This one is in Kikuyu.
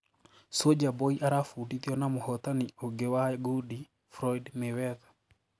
Soulja Boy arafudithio na muhũtani ũngĩ wa gundi, Floyd Mayweather.